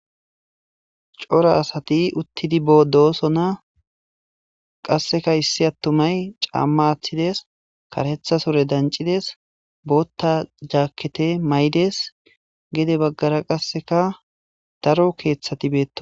cora asati uttidi boodosona qasseka issi attumay caamma attides karetha sore dancides bootta jaakkete maydes gede baggara qasseka daro keeththati beetto